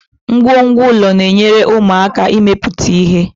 Ngwongwo ụlọ na-enyere ụmụaka aka ịmepụta ihe